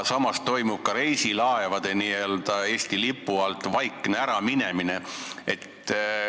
Samas toimub ka reisilaevade Eesti lipu alt vaikne äraminemine.